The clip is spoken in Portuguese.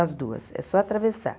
As duas, é só atravessar.